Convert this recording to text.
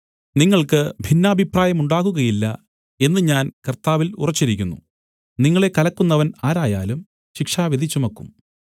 നിങ്ങൾക്ക് ഭിന്നാഭിപ്രായമുണ്ടാകുകയില്ല എന്ന് ഞാൻ കർത്താവിൽ ഉറച്ചിരിക്കുന്നു നിങ്ങളെ കലക്കുന്നവൻ ആരായാലും ശിക്ഷാവിധി ചുമക്കും